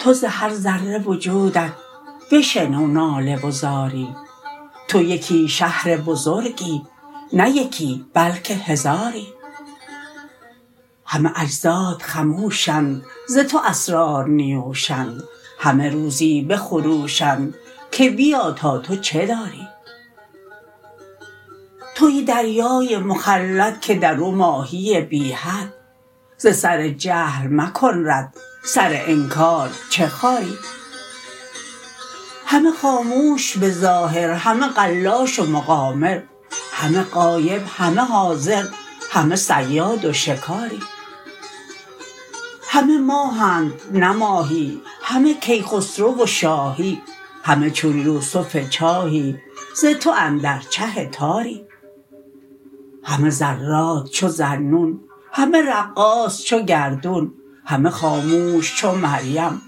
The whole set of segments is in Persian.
تو ز هر ذره وجودت بشنو ناله و زاری تو یکی شهر بزرگی نه یکی بلکه هزاری همه اجزات خموشند ز تو اسرار نیوشند همه روزی بخروشند که بیا تا تو چه داری توی دریای مخلد که در او ماهی بی حد ز سر جهل مکن رد سر انکار چه خاری همه خاموش به ظاهر همه قلاش و مقامر همه غایب همه حاضر همه صیاد و شکاری همه ماهند نه ماهی همه کیخسرو و شاهی همه چون یوسف چاهی ز تو اندر چه تاری همه ذرات چو ذاالنون همه رقاص چو گردون همه خاموش چو مریم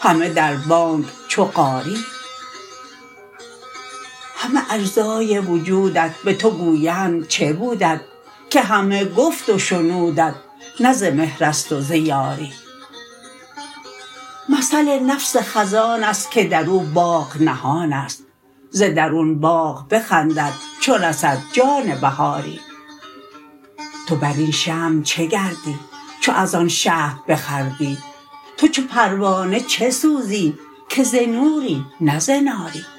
همه در بانگ چو قاری همه اجزای وجودت به تو گویند چه بودت که همه گفت و شنودت نه ز مهر است و ز یاری مثل نفس خزان است که در او باغ نهان است ز درون باغ بخندد چو رسد جان بهاری تو بر این شمع چه گردی چو از آن شهد بخوردی تو چو پروانه چه سوزی که ز نوری نه ز ناری